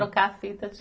Trocar a fita?